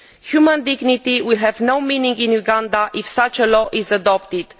Human dignity will have no meaning in Uganda if such a law is adopted.